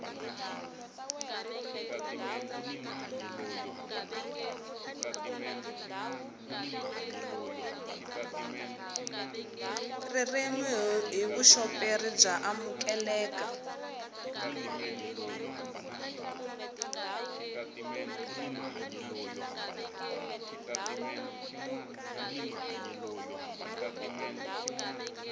ririmi hi vuxoperi bya amukeleka